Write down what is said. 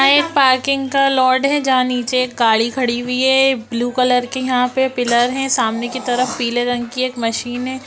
यहाँ एक पार्किंग का लॉर्ड है जहाँ नीचे एक गाड़ी खड़ी हुई है ब्लू कलर के यहाँ पे पिलर है सामने की तरफ पिले रंग की एक मशीन है।